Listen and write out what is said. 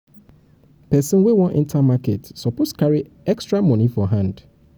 pesin wey wan enter market suppose carry extra moni for hand.